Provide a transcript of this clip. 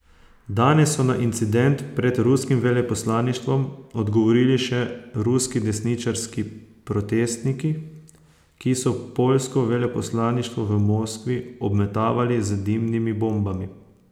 Danes so na incident pred ruskim veleposlaništvom odgovorili še ruski desničarski protestniki, ki so poljsko veleposlaništvo v Moskvi obmetavali z dimnimi bombami.